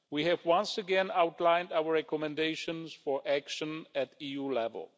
We have once again outlined our recommendations for action at EU level.